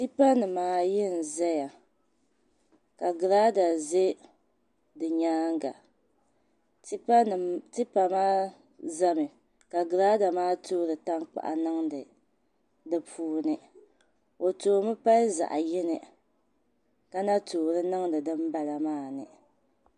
Tipa nim maa yi n ʒɛya ka girada ʒɛ di nyaanga tipa maa ʒɛmi ka girada maa toori tankpaɣu niŋdi di puuni o toomi pali zaɣ yini ka na toori niŋdi dinbala maa ni